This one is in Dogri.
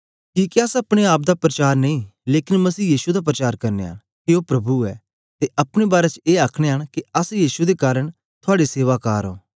किके अस अपने आप दा परचार नेई लेकन मसीह यीशु दा परचार करनयां न के ओ प्रभु ऐ ते अपने बारै च ए आखनयां न के अस यीशु दे कारन थुआड़े सेवा कार ओं